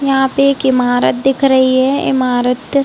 यहाँ पे एक इमारत दिख रही है। इमारत--